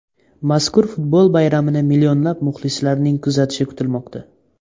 Mazkur futbol bayramini millionlab muxlislarning kuzatishi kutilmoqda.